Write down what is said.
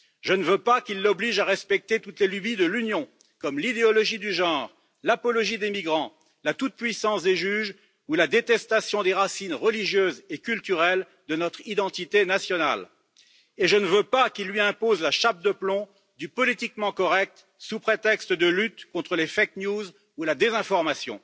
Je ne veux pas qu'ils l'obligent à respecter toutes les lubies de l'Union, comme l'idéologie du genre, l'apologie des migrants, la toute puissance des juges ou la détestation des racines religieuses et culturelles de notre identité nationale. Et je ne veux pas qu'ils lui imposent la chape de plomb du politiquement correct, sous prétexte de lutte contre les fake news ou la désinformation.